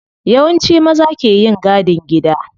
Yawanci maza ke yin gadin gida.